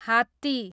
हात्ती